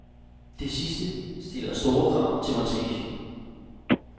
Det sidste stiller store krav til montagen.